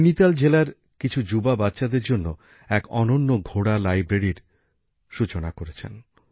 নৈনিতাল জেলার কিছু যুবক যুবতী বাচ্চাদের জন্য এক অনন্য ঘোড়া লাইব্রেরির সূচনা করেছেন